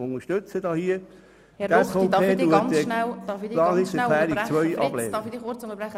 Herr Grossrat Ruchti, darf ich kurz unterbrechen.